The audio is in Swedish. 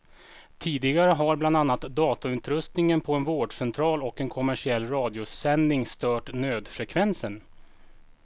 Tidigare har bland annat datautrustningen på en vårdcentral och en kommersiell radiosändning stört nödfrekvensen.